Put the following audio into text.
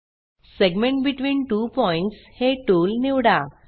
segment between two points हे tool निवडा